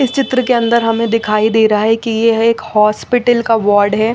इस चित्र के अन्दर हमे दिखाई देरा है की ये एक हॉस्पिटल का बोर्ड है।